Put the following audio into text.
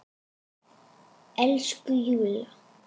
Elsku Júlla!